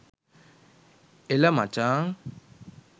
ඒල මචන්